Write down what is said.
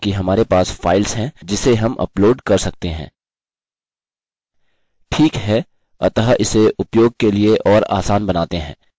ठीक है अतः इसे उपयोग के लिए और आसान बनाते हैं